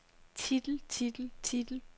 titel titel titel